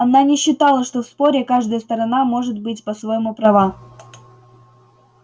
она не считала что в споре каждая сторона может быть по-своему права